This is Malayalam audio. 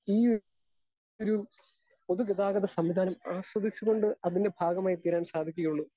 സ്പീക്കർ 2 ഈയൊരു പൊതുഗതാഗത സംവിധാനം ആസ്വദിച്ചുകൊണ്ട് അതിൻ്റെ ഭാഗമായിത്തീരാൻ സാധിക്കുകയുള്ളൂ.